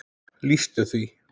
lýstu því?